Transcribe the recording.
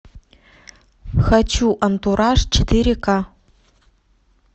хочу антураж четыре ка